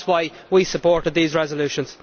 That is why we supported these resolutions.